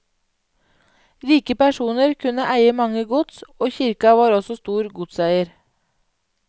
Rike personer kunne eie mange gods, og kirka var også stor godseier.